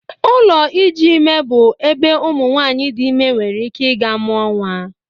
Ụlọ iji ime bụ ebe ụmụ nwanyị dị ime nwere ike ị ga-mụa nwa.